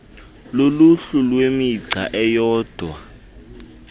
luluhlu lwemigca eyodwa